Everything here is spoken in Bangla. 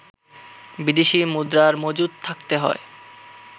বিদেশি মুদ্রার মজুদ থাকতে হয়